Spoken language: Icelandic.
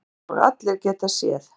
Eins og allir geta séð.